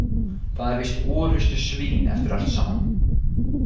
Það er víst orrustusvín eftir allt saman.